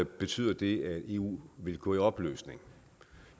betyder det at eu vil gå i opløsning